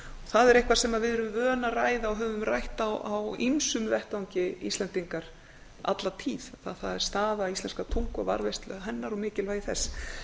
það er eitthvað sem við erum vön að ræða og höfum rætt á ýmsum vettvangi íslendingar alla tíð það er staða íslenskrar tungu og varðveislu hennar og mikilvægi þess